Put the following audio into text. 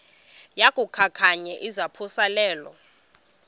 yaku khankanya izaphuselana